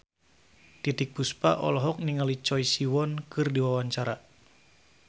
Titiek Puspa olohok ningali Choi Siwon keur diwawancara